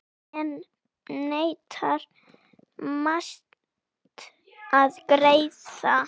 Enn neitar Mast að greiða.